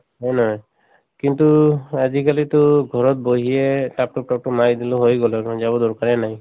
হয়নে নহয় কিন্তু আজিকালিটো ঘৰত বহিয়ে মাৰি দিলো হৈয়ে গল যাব দৰকাৰে নাই